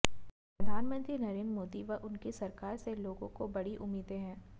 प्रधानमंत्री नरेंद्र मोदी व उनकी सरकार से लोगों को बड़ी उम्मीदें हैं